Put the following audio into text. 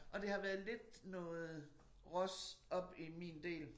Og det har været lidt noget ros oppe i min del